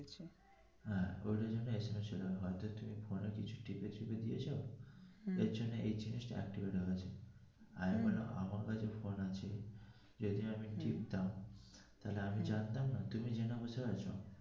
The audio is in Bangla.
হ্যা ওই জন্য ছিল না হয়তো তুমি কিছু টিপে ঠিপে দিয়াছ এই জন্য এই জিনিসটা activete হয়ে গেছে আরে বাবা আমার কাছে ফোন আছে যদিও আমি টিপতাম আমি জানতাম না তুমি জেনে বসে আছো